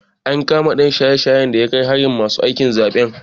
An kama ɗan shaye-shayen da ya kai hari ma masu aikin zaɓen.